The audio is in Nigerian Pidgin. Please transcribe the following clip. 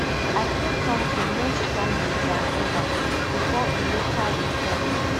i feel somtin more strongly dan eva bifor e later recall